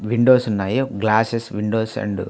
Windows ఉన్నాయి ఒక glasses windows and --